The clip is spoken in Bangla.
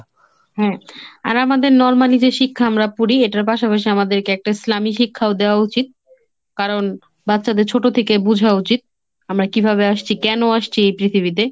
হ্যাঁ আর আমাদের normally যে শিক্ষা আমরা পড়ি এটার পাশাপাশি আমাদেরকে একটা ইসলামী শিক্ষাও দেওয়া উচিত, কারণ বাচ্চাদের ছোট থেকে বোঝা উচিত। আমরা কিভাবে আসছি? কেন আসছি এই পৃথিবীতে?